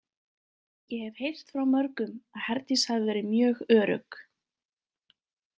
Ég hef heyrt frá mörgum að Herdís hafi verið mjög örugg.